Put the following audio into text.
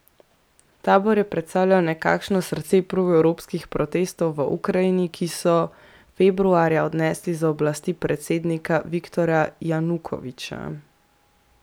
Tabor je predstavljal nekakšno srce proevropskih protestov v Ukrajini, ki so februarja odnesli z oblasti predsednika Viktorja Janukoviča.